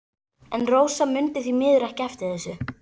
En Rósa mundi því miður ekki eftir þessu.